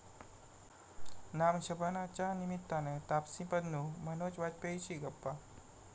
नाम शबाना'च्या निमित्तानं तापसी पन्नू, मनोज वाजपेयीशी गप्पा